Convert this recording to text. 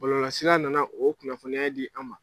Bɔlɔlɔsira nana o kunnafoniya di an ma.